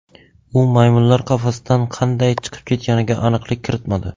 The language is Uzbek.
U maymunlar qafasdan qanday chiqib ketganiga aniqlik kiritmadi.